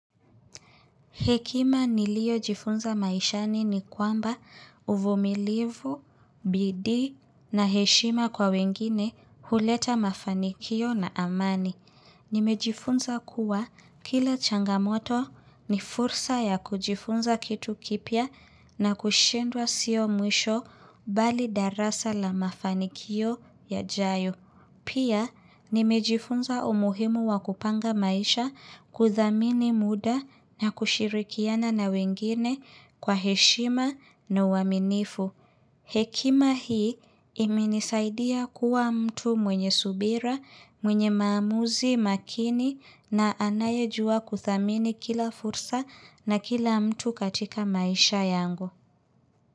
Hekima niliojifunza maishani ni kwamba uvumilivu, bidii na heshima kwa wengine huleta mafanikio na amani. Nimejifunza kuwa kila changamoto ni fursa ya kujifunza kitu kipya na kushindwa sio mwisho bali darasa la mafanikio yajayo. Pia, nimejifunza umuhimu wa kupanga maisha kuthamini muda na kushirikiana na wengine kwa heshima na uaminifu. Hekima hii imenisaidia kuwa mtu mwenye subira, mwenye maamuzi, makini na anayejua kuthamini kila fursa na kila mtu katika maisha yangu.